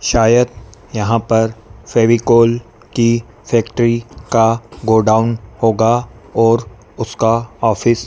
शायद यहां पर फेविकोल की फैक्ट्री का गोडाउन होगा और उसका ऑफिस --